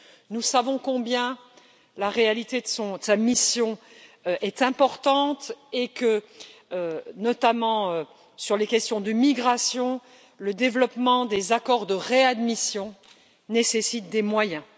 Nous savons combien la réalité de sa mission est importante et que, notamment sur les questions de migration, le développement des accords de réadmission nécessite des moyens.